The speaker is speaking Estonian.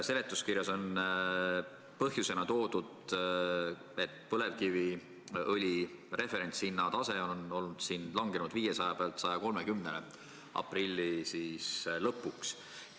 Seletuskirjas on märgitud, et põlevkiviõli referentshind langes aprilli lõpuks tasemelt 500 dollarit tonn tasemele 130 dollarit tonn.